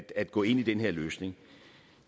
at gå ind i den her løsning